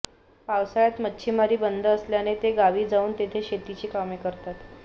पावसाळ्यात मच्छिमारी बंद असल्याने ते गावी जाऊन तेथे शेतीची कामे करतात